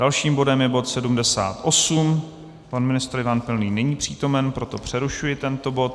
Dalším bodem je bod 78, pan ministr Ivan Pilný není přítomen, proto přerušuji tento bod.